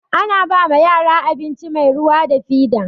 Ana ba yara abinci mai ruwa da fida.